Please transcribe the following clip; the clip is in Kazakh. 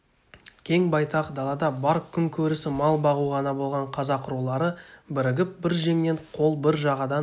кең байтақ далада бар күн көрісі мал бағу ғана болған қазақ рулары бірігіп бір жеңнен қол бір жағадан